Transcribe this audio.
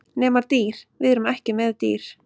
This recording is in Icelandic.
Nema dýr, við erum ekki með dýr.